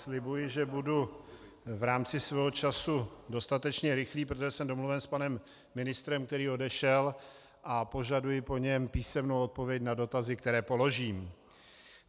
Slibuji, že budu v rámci svého času dostatečně rychlý, protože jsem domluven s panem ministrem, který odešel, a požaduji po něm písemnou odpověď na dotazy, které položím.